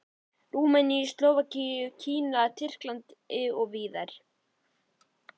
Rúmeníu, Slóvakíu, Kína, Tyrklandi og víðar.